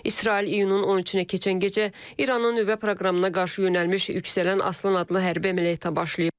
İsrail iyunun 13-nə keçən gecə İranın nüvə proqramına qarşı yönəlmiş yüksələn Aslan adlı hərbi əməliyyata başlayıb.